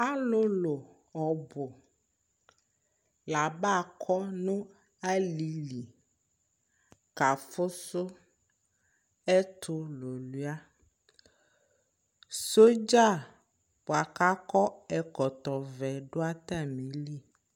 Alʋlʋ ɔbʋ la abakɔ alɩli kafʋsʋ ɛtʋlʋlʋɩa Sɔdza bʋa kʋ akɔ ɛkɔtɔvɛ dʋ atamɩli